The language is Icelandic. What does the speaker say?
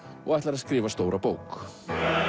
og ætlar að skrifa stóra bók